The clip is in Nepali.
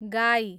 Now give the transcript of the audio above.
गाई